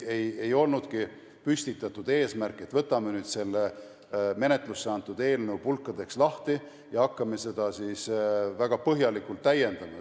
Ei olnudki püstitatud sellist eesmärki, et võtame nüüd selle menetlusse antud eelnõu pulkadeks lahti ja hakkame seda väga põhjalikult täiendama.